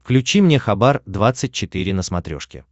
включи мне хабар двадцать четыре на смотрешке